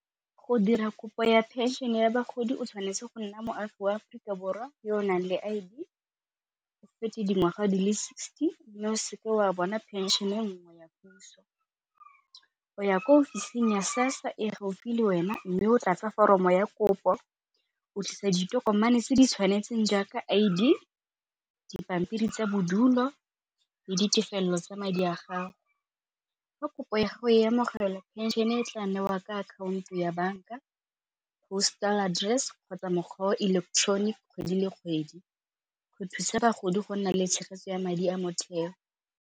Go dira kopo ya phenšene ya bagodi o tshwanetse go nna moagi wa Aforika Borwa yo naleng I_D, o dingwaga di le sixty mme o seke wa bona phenšene nngwe ya puso. O ya ko ofising ya SASSA e gaufi le wena mme o tlatse foromo ya kopo, o tlisa ditokomane tse di tshwanetseng jaaka I_D, dipampiri tsa bodulo le ditefelelo tsa madi a gago. Fa kopo ya gago ya amogela ya phenšene e tla newa ka account-o ya banka, postal address kgotsa mokgwa wa electronic kgwedi le kgwedi go thusa bagodi go nna le tshegetso ya madi a motheo.